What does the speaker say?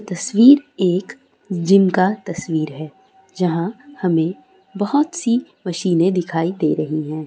तस्वीर एक जिम का तस्वीर है जहाँ हमें बहोत सी मशीने दिखाई दे रही हैं।